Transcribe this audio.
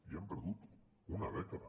i hem perdut una dècada